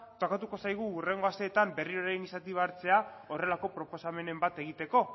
tokatuko zaigu hurrengo asteetan berriro iniziatiba hartzea horrelako proposamenen bat egiteko